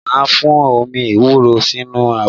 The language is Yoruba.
Màá fún omi ewúro sínú abọ́